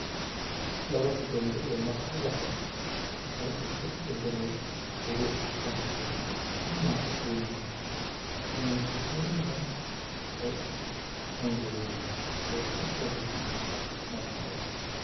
Dhabarka dambe ee madaxa ubaxu wuxuu isu beddelay huruud khafiif ah ama bunni, iniinihiina way engegeen oo ka soo baxeen madaxa ubaxa."